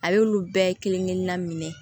A y'olu bɛɛ kelen kelenna minɛ